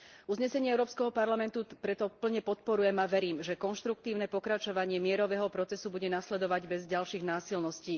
Uznesenie Európskeho parlamentu preto plne podporujem a verím, že konštruktívne pokračovanie mierového procesu bude nasledovať bez ďalších násilností.